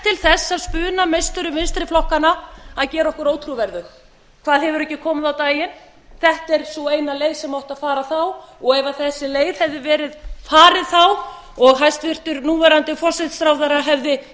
þess af spunameisturum vinstri flokkanna að gera okkur ótrúverðug hvað hefur ekki komið á daginn þetta er sú eina leið sem átti að fara þá og ef þessi leið hefði verið farin þá og hæstvirtur núverandi forsætisráðherra hefði staðið